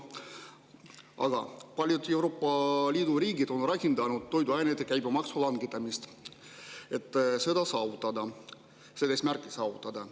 Paljud Euroopa Liidu riigid on rakendanud toiduainete käibemaksu langetamist, et seda eesmärki saavutada.